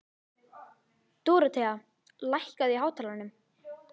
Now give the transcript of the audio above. Dorothea, lækkaðu í hátalaranum.